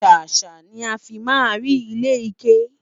sàsá ní àfi má rí ilé ike